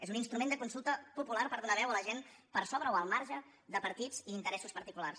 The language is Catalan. és un instrument de consulta popular per donar veu a la gent per sobre o al marge de partits i interessos particulars